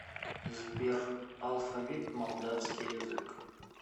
сбер алфавит молдавский язык